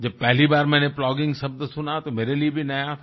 जब पहली बार मैंने प्लॉगिंग शब्द सुना तो मेरे लिए भी नया था